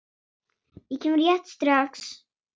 Ég kem rétt strax.